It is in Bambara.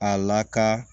A laka